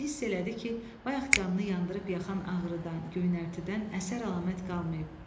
Və hiss elədi ki, bayaq canını yandırıb yakan ağrıdan, göynərtidən əsər-əlamət qalmayıb.